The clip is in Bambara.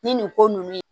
Ni nin ko ninnu